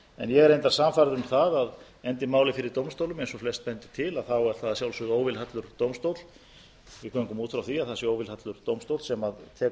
en ég er reyndar sannfærður um að endi málið fyrir dómstólum eins og flest bendir til getum við gengið út frá því að það sé að sjálfsögðu óvilhallur dómstóll sem